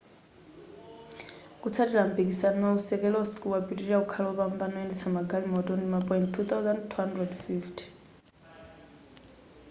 kutsatira mpikisanowu keselowski wapitilira kukhala wopambana woyendetsa magalimoto ndi ma point 2,250